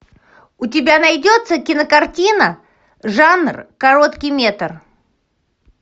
у тебя найдется кинокартина жанр короткий метр